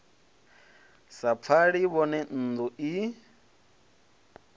sa pfali vhone nnḓu i